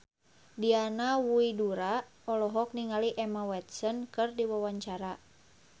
Diana Widoera olohok ningali Emma Watson keur diwawancara